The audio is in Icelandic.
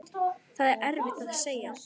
Það er erfitt að segja.